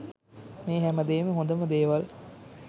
මේ හැමදේම හොඳම දේවල්